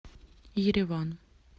ереван